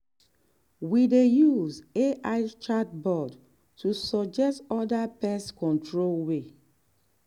we dey use ai chatbot to suggest other pest control way.